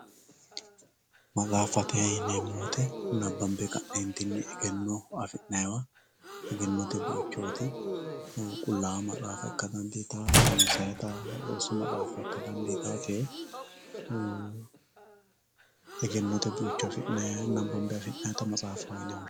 maxxafatte yinemo woyite nabanbe kanentinni eggeno afinayiwa eggenotte buichotti qullawa maxxafa ikka daniditawo roonsayitta roosu maxxafa ikka danditawio tee eggenote buicho nabanbe afinayita matsafaho yinne woshinayi